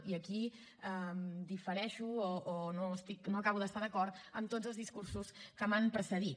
i aquí difereixo o no acabo d’estar d’acord amb tots els discursos que m’han precedit